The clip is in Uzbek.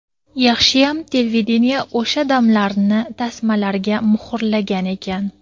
Yaxshiyam televideniye o‘sha damlarni tasmalarga muhrlagan ekan.